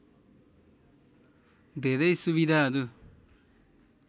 धेरै सुविधाहरु